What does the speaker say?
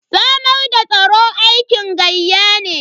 Samar da tsaro aikin gayya ne.